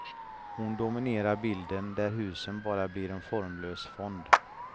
Hon dominerar bilden där husen bara blir en formlös fond.